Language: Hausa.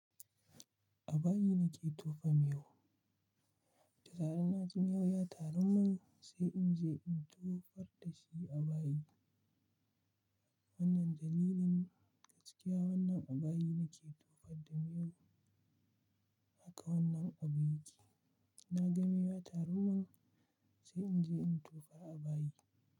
A bayi nake tofa miyau. Da zaran na ji miyau ya taru man sai in je in tofar da shi a bayi. Wannan dalilin gaskiya wannan a bayi nake tofar da miyau. Haka wannan abu yake. Da naga miyau ya taru mun sai in je in tofa a bayi.